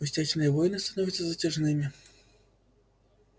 пустячные войны становятся затяжными